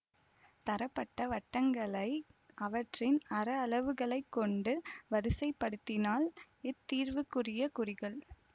தரப்பட்ட வட்டங்களை அவற்றின் அர அளவுகளை கொண்டு வரிசைப்படுத்தினால் இத்தீர்வுக்குரிய குறிகள்